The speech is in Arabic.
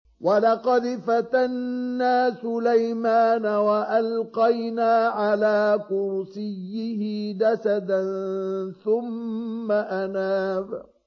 وَلَقَدْ فَتَنَّا سُلَيْمَانَ وَأَلْقَيْنَا عَلَىٰ كُرْسِيِّهِ جَسَدًا ثُمَّ أَنَابَ